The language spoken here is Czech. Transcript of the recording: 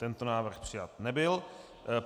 Tento návrh přijat nebyl.